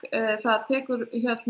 það tekur